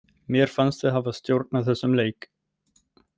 Mér fannst við hafa stjórn á þessum leik.